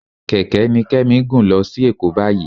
Kẹ̀kẹ́ ni Kẹ́mi ń gùn lọ sí Èkó báyìí